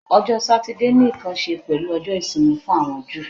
Ọjọ Satidee ni nkan ṣe pẹlu Ọjọ isimi fun awọn Ju